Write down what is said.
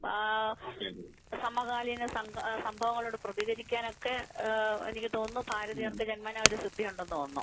സമകാലിക സംഭവങ്ങളോട് പ്രതികരിക്കാൻ ഒക്കെ സമകാലിക സംഭവങ്ങളോട് പ്രതികരിക്കാൻ എനിക്ക് തോന്നുന്നു ഭാരതീയർക്ക് ജന്മനാ ഒരു സിദ്ധിയുണ്ടെന്ന് തോന്നുന്നു